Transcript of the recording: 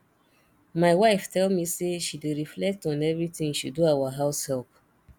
my wife tell me say she dey reflect on everything she do our house help